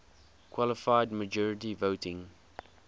qualified majority voting